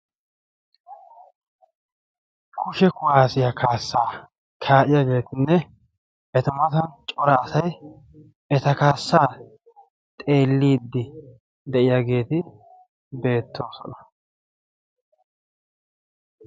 kushe kuwaasiyaa kaassaa kaa'iyaageetinne eta matan cora asay eta kaassaa xeelidi de'iyaageeti beettoosona.